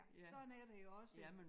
Sådan er det jo også